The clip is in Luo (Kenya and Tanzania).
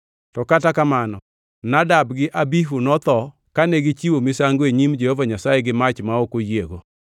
To kata kamano Nadab gi Abihu notho kane gichiwo misango e nyim Jehova Nyasaye gi mach ma ok oyiego.)